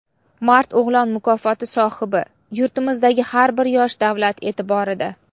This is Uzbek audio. "Mard o‘g‘lon" mukofoti sohibi: " Yurtimizdagi har bir yosh davlat e’tiborida".